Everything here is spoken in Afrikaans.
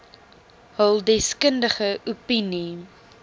hul deskundige opinie